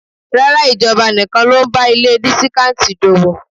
Rárá, ìjọba nìkan ló ń bá ilé dísíkántì d'ówó.